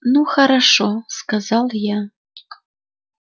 ну хорошо сказал я